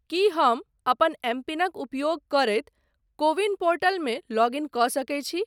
की हम अपन एमपिनक उपयोग करैत को विन पोर्टल मे लॉग इन कऽ सकैत छी ?